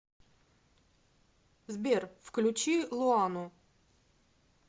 сбер включи луану